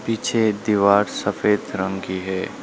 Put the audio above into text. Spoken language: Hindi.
पीछे दीवार सफेद रंग की है।